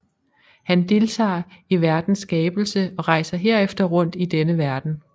Han deltager i verdens skabelse og rejser herefter rundt i denne verden